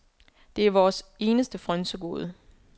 Det er vores eneste frynsegode.